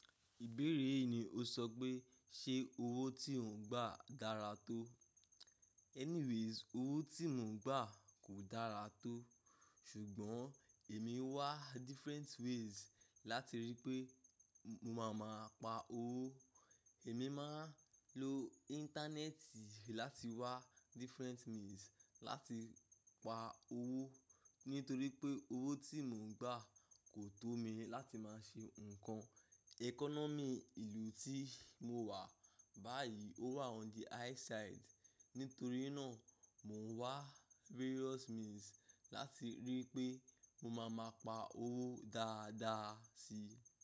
Ìbéèrè yìí ni o sọ pé ṣe owó tí ò ń gbà dára tó? Anyways, owó tí mò ń gbà kò dára tó. Ṣùgbọ́n èmi ń wá different ways láti rí i pé mo máa ma pa owó. Èmi máa ń lo íńtánẹ́ẹ̀tì láti wá different means láti pa owó. Nítorí pé owó tí mò ń gbà kò tó mi láti máa ṣe nǹkan. Economy ìlú tí mo wà báyìí ó wà on the high side. Nítorí náà, mò ń wá various means láti rí i pé mo máa ma pa owó dáadáa si.